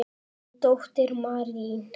Þín dóttir, Marín.